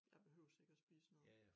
Jeg behøve sikke at spise noget